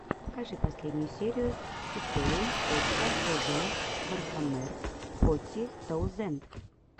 покажи последнюю серию историум точка тв вархаммер фоти таузенд